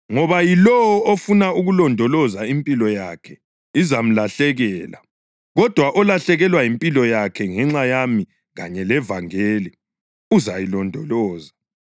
Ngoba yilowo ofuna ukulondoloza impilo yakhe izamlahlekela, kodwa olahlekelwa yimpilo yakhe ngenxa yami kanye levangeli uzayilondoloza.